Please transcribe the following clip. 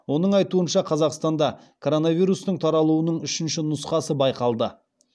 оның айтуынша қазақстанда коронавирустың таралуының үшінші нұсқасы байқалды